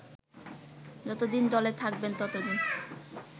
যতদিন দলে থাকবেন ততদিন